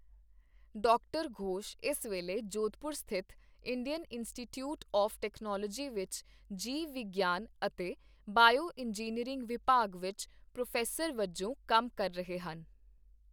Doctor Ghosh ਇਸ ਵੇਲੇ ਜੋਧਪੁਰ ਸਥਿਤ ਇੰਡੀਅਨ ਇੰਸਟੀਚਿਊਟ ਆਫ਼ ਟੈਕਨੋਲੋਜੀ ਵਿਚ ਜੀਵ ਵਿਗਿਆਨ ਅਤੇ ਬਾਇਓ ਇੰਜੀਨੀਅਰਿੰਗ ਵਿਭਾਗ ਵਿੱਚ ਪ੍ਰੋਫ਼ੈਸਰ ਵਜੋਂ ਕੰਮ ਕਰ ਰਹੇ ਹਨ।